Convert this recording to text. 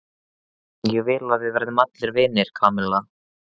Ég vil að við verðum vinir, Kamilla.